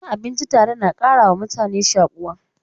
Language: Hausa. Cin abinci tare na ƙarawa mutane shakuwa.